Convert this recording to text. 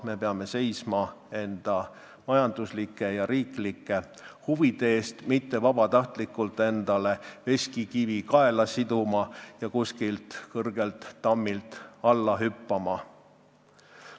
Me peame seisma enda majanduslike ja riiklike huvide eest, mitte vabatahtlikult endale veskikivi kaela siduma ja kõrgelt tammilt alla hüppama.